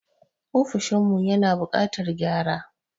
Ofishin mu ya na buƙatan gyara